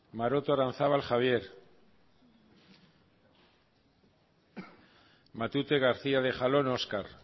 maroto aranzábal javier matute garcía de jalón oskar